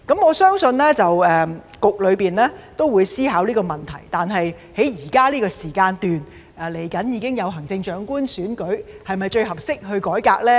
我相信局方也會思考這個問題，但現時快將舉行行政長官選舉，是否最適合改革的時間呢？